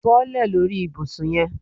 Bọ́lẹ̀ lórí ibùsùn yẹn